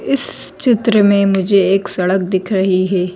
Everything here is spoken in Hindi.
इस चित्र में मुझे एक सड़क दिख रही है।